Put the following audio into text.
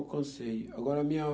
alcancei. Agora, a minha